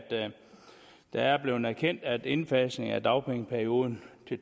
det er blevet erkendt at indfasningen af dagpengeperioden